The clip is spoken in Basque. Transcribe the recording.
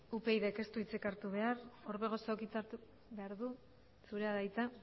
upydk ez du hitzik hartu behar orbegozok hitza hartu behar du zurea da hitza